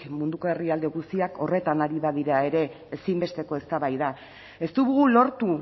munduko herrialde guztiak horretan ari badira ere ezinbesteko eztabaida ez dugu lortu